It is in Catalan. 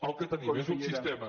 el que tenim és un sistema